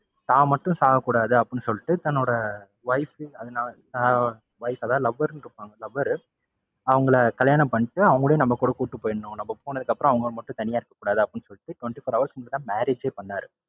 தான் மட்டும் சாகக்கூடாது அப்படின்னு சொல்லிட்டு தன்னோட wife அத~ அதாவது lover னு கூப்பிடுவாங்க lover அவங்கள கல்யாணம் பண்ணிட்டு அவங்களையும் நம்ம கூட கூட்டிட்டு போயிடணும் நம்ம போனதுக்கு அப்பறம் அவங்க மட்டும் தனியா இருக்கக்கூடாது அப்படின்னு சொல்லிட்டு twenty-four hours முன்னாடி தான் marriage ஏ பண்ணாரு.